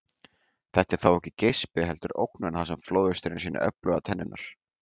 Þetta er þó ekki geispi heldur ógnun þar sem flóðhesturinn sýnir öflugar tennurnar.